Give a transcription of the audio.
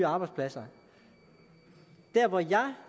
arbejdspladser der hvor jeg